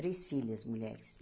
Três filhas, mulheres.